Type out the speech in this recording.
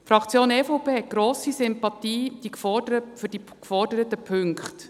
Die Fraktion EVP hat grosse Sympathie für die geforderten Punkte.